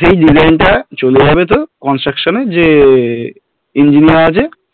সেই design টা চলে যাবে তোর construction এ যে engineer এর